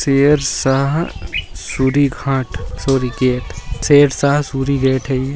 शेरशाह शुरी घाट Suri gate Sher Shah Suri gate है ये।